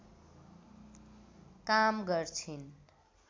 काम गर्छिन्